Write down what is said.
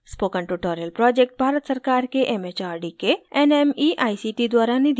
spoken tutorial project Bharat सरकार के mhrd के nmeict द्वारा निधिबद्ध है